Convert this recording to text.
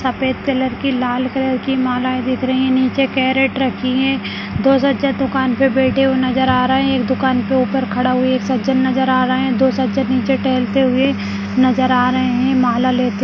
सफेद कलर कि लाल कलर कि मालाएं दिख रही हैं नीचे कैरेट रखी है दो सज्जन दुकान पर बैठे हुए नजर आ रहे हैं एक दुकान के ऊपर खड़ा हुए है एक सज्जन नजर आ रहे है दो सज्जन नीचे टहलते हुए नजर आ रहे हैं माला लेते --